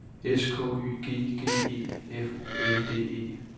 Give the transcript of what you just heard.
S K Y G G E F U L D E